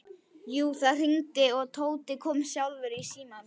Jú, það hringdi og Tóti kom sjálfur í símann.